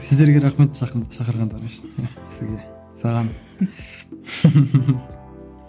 сіздерге рахмет шақырғандарыңыз үшін сізге саған